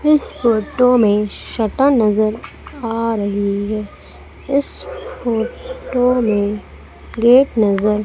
इस फोटो में शटर नजर आ रही है इस फोटो में गेट नजर --